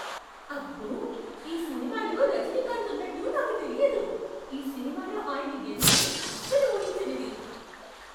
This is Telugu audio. అబ్బో! ఈ సినిమాలో రజనీకాంత్ ఉన్నట్టు నాకు తెలియదు. ఈ సినిమాలో ఆయన ఎంట్రీ అస్సలు ఊహించనిది.